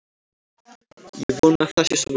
Ég vona að það sé svo